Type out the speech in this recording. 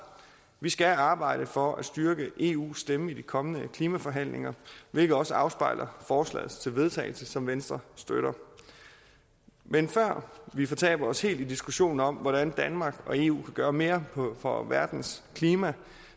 vi skal arbejde for at styrke eus stemme i de kommende klimaforhandlinger hvilket også afspejles i forslag til vedtagelse som venstre støtter men før vi fortaber os helt i diskussionen om hvordan danmark og eu kan gøre mere for verdens klima